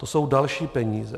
To jsou další peníze.